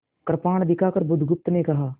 कृपाण दिखाकर बुधगुप्त ने कहा